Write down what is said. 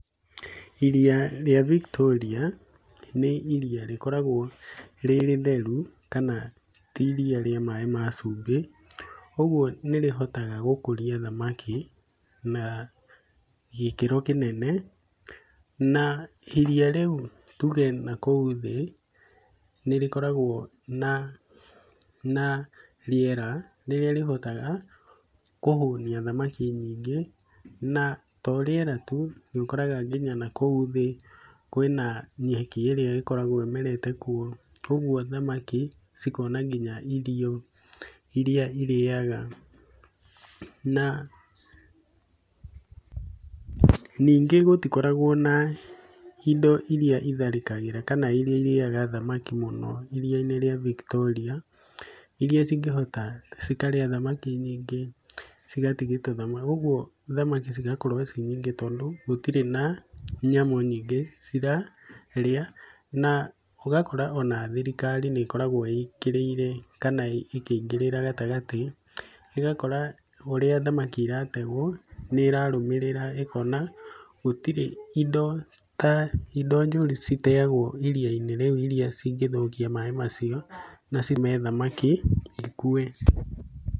Iria rĩa Victoria nĩ iria rĩkoragwo rĩ rĩtheru kana ti iria rĩa maĩ ma cumbĩ, ũguo nĩrĩhotaga gũkũria thamaki na gĩkĩro kĩnene na iria rĩu tuge nakũu thĩ nĩrĩkoragwo na na rĩera rĩrĩa rĩhotaga kũhũnia thamakia nyingĩ, na to rĩera tu nĩũkoraga nginya nakũu thĩ kwĩna nyeki ĩrĩa koragwo ĩmerete kuo, kuoguo thamaki cikona nginya irio iria irĩaga na ningĩ gũtikoragwo na indo iria itharĩkagĩra kana iria irĩaga thamaki mũno iria-inĩ rĩa Victoria, iria cingĩhota cikarĩa thamaki nyingĩ cigatigia tũthamaki, ũguo thamaki cigakorwo ciĩ nyingĩ tondũ gũtirĩ na nyamũ nyingĩ cirarĩa na ũgakora ona thirikari nĩĩkoragwo ĩkĩrĩire kana ĩkĩingĩrĩra gatagatĩ, ĩgakora ũrĩa thamaki irategwo nĩĩrarũmĩrĩra ĩkona gũtirĩ indo ta indo njũru citeagwo iria-inĩ rĩu iria cingĩthũkia maĩ macio na cime thamaki ikue.